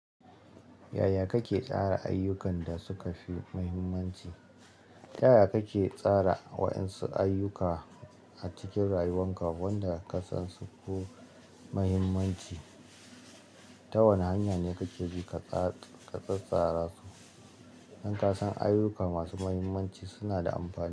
Yaya kake tsara ayyukan da suka fi muhimmanci? Tayaya kake tsara waɗansu ayyuka a cikin rayuwanka wanda ka san su ko muhimmanci? Ta wana hanya ne kake bi ka tsatstsara su in ka san ayyuka masu muhimmanci suna da amfani.